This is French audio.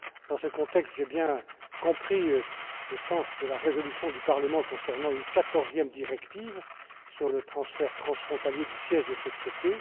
Dans ce contexte, j'ai bien compris le sens de la résolution du Parlement concernant une 14e directive sur le transfert transfrontalier du siège des sociétés.